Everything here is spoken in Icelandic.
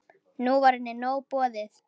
Nú var henni nóg boðið.